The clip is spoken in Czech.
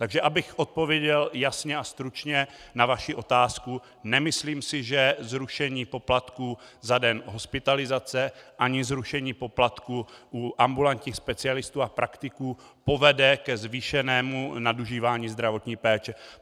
Takže abych odpověděl jasně a stručně na vaši otázku, nemyslím si, že zrušení poplatků za den hospitalizace nebo zrušení poplatků u ambulantních specialistů a praktiků povede ke zvýšenému nadužívání zdravotní péče.